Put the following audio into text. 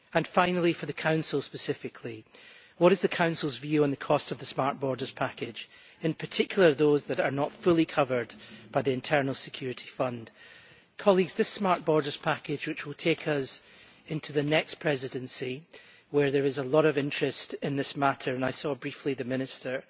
Finally, for the Council specifically, what is the Council's view on the costs of the Smart Borders Package, in particular those that are not fully covered by the Internal Security Fund? This Smart Borders package, which will take us into the next Presidency where there is a lot of interest in this matter, and I have spoken briefly to the Minister